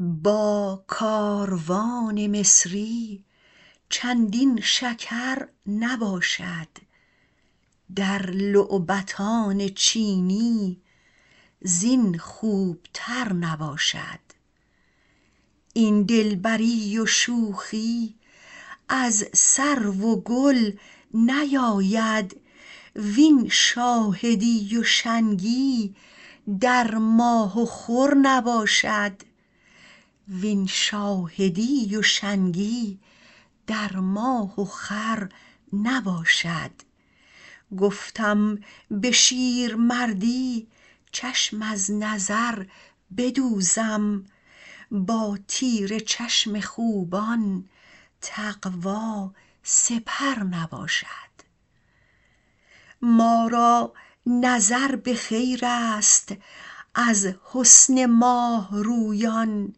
با کاروان مصری چندین شکر نباشد در لعبتان چینی زین خوبتر نباشد این دلبری و شوخی از سرو و گل نیاید وین شاهدی و شنگی در ماه و خور نباشد گفتم به شیرمردی چشم از نظر بدوزم با تیر چشم خوبان تقوا سپر نباشد ما را نظر به خیرست از حسن ماه رویان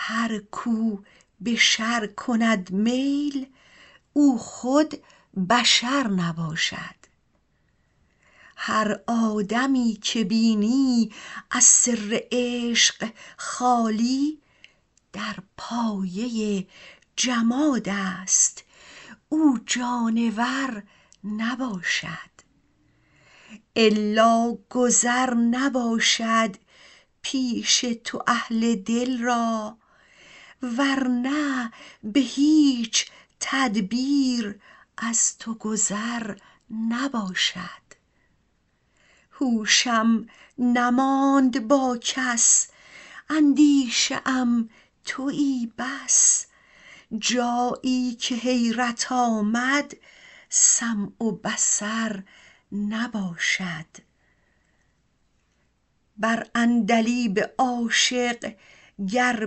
هر کو به شر کند میل او خود بشر نباشد هر آدمی که بینی از سر عشق خالی در پایه جمادست او جانور نباشد الا گذر نباشد پیش تو اهل دل را ور نه به هیچ تدبیر از تو گذر نباشد هوشم نماند با کس اندیشه ام تویی بس جایی که حیرت آمد سمع و بصر نباشد بر عندلیب عاشق گر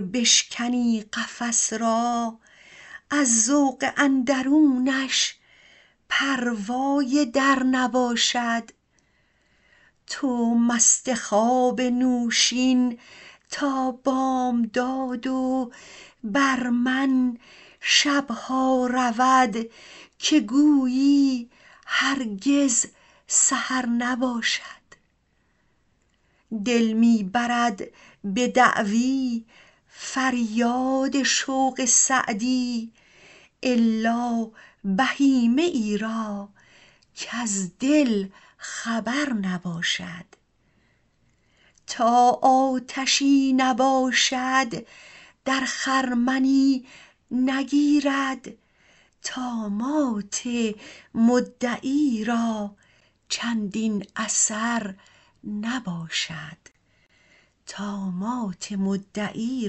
بشکنی قفس را از ذوق اندرونش پروای در نباشد تو مست خواب نوشین تا بامداد و بر من شب ها رود که گویی هرگز سحر نباشد دل می برد به دعوی فریاد شوق سعدی الا بهیمه ای را کز دل خبر نباشد تا آتشی نباشد در خرمنی نگیرد طامات مدعی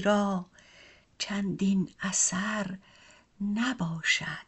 را چندین اثر نباشد